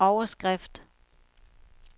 overskrift